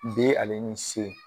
D ale ni C